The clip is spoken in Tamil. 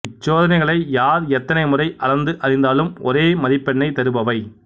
இச்சோதனைகளை யார் எத்தனை முறை அளந்து அறிந்தாலும் ஒரே மதிப்பெண்ணைத் தருபவை